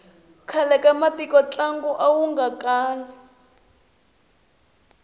khale ka matiko ntlangu awu nga kali